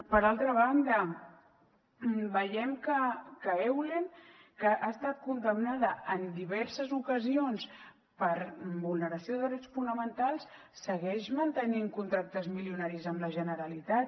per altra banda veiem que eulen que ha estat condemnada en diverses ocasions per vulneració de drets fonamentals segueix mantenint contractes milionaris amb la generalitat